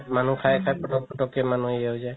মানুহ খাই খাই পতক পতকে হেৰি হয় যাই